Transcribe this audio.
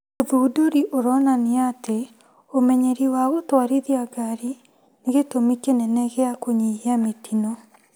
ũthudũri ũronania atĩ ũmenyeri wa gũtwarithia ngari nĩ gĩtũmi kĩnene gĩa kũnyihia mĩtino